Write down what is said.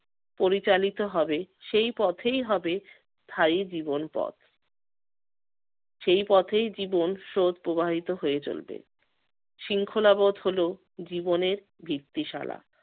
পরিচালিত হবে সেই পথেই হবে স্থায়ী জীবন পথ। সেই পথেই জীবন স্রোত প্রবাহিত হয়ে চলবে। শৃঙ্খলাবোধ হলো জীবনের ভিত্তিশালা।